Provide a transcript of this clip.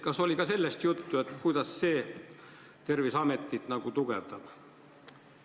Kas teil oli juttu ka sellest, kuidas see Terviseametit tugevdab?